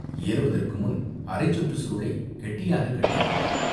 ஏறுவதற்கு முன் அரைச்சுற்றுச் சுருளைக் கெட்டியாகக் கட்டிக் கொண்டான்.